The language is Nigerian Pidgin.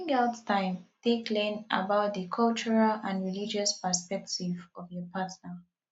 bring out time take learn about di cultural and religious perspective of your partner